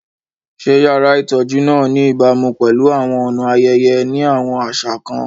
Ṣé yàrá ìtọ́jú náà ní ìbámu pẹ̀lú àwọn ọ̀nà ayẹyẹ ní àwọn àṣà kan?